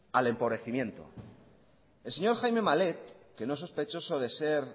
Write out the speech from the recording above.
al empobrecimiento el señor jaime malet que no es sospechoso de ser